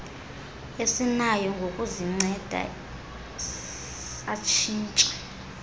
esinayo ngokuzinceda satshintsha